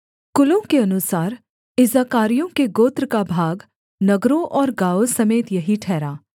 कुलों के अनुसार इस्साकारियों के गोत्र का भाग नगरों और गाँवों समेत यही ठहरा